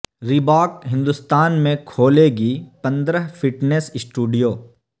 Reebok Hindustan میں کھولے گی پند رہ فٹ نیس اسٹوڈ یو